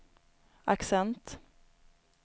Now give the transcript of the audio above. accent